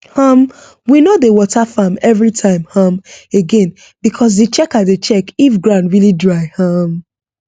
um we no dey water farm every time um again because d checker dey check if ground really dry um